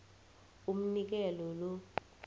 umnikelo lo